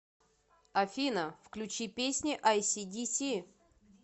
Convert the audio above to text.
афина включи песни ай си диси